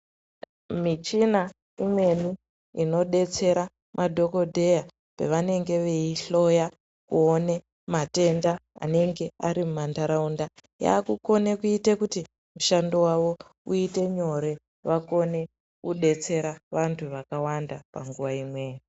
Michina imweni inodetsera madhokodheya pavanenge veyi hloya kuwone matenda anenge ari mumandaraunda, yakukone kuti mushando wavo uyite nyore vakone kudetsera vantu vakawanda panguva imweyo.